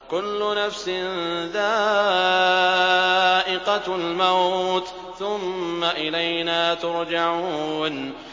كُلُّ نَفْسٍ ذَائِقَةُ الْمَوْتِ ۖ ثُمَّ إِلَيْنَا تُرْجَعُونَ